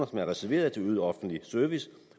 reserveret til øget offentlig service